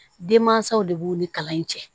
Denmansaw de b'u ni kalan in cɛ